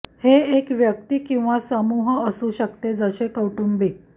हे एक व्यक्ती किंवा समूह असू शकते जसे कौटुंबिक